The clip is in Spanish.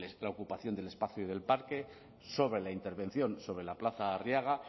la ocupación del espacio y del parque sobre la intervención sobre la plaza arriaga